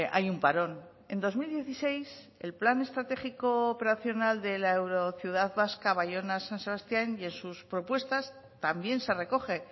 hay un parón en dos mil dieciséis el plan estratégico operacional de la eurociudad vasca bayona san sebastián y en sus propuestas también se recoge